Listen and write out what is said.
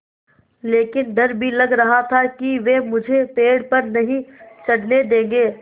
लेकिन डर भी लग रहा था कि वे मुझे पेड़ पर नहीं चढ़ने देंगे